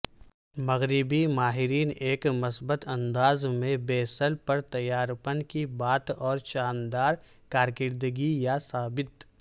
مغربی ماہرین ایک مثبت انداز میں بیسل پرتیارپن کی بات اور شاندار کارکردگی یہ ثابت